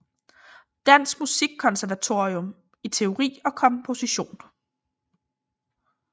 Danske Musikkonservatorium i teori og komposition